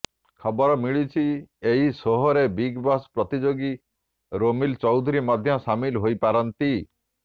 ଖବର ମିଳିଛି ଏହି ଶୋରେ ବିଗ୍ ବସ୍ ପ୍ରତିଯୋଗୀ ରୋମିଲ ଚୈାଧୁରୀ ମଧ୍ୟ ସାମିଲ ହୋଇପାରନ୍ତି